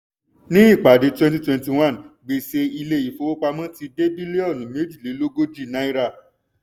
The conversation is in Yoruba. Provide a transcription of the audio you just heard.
ní ìpàdé 2021 gbèsè ilé ìfowópamọ́ ti dé bílíọ̀nù méjìlélógójì náírà.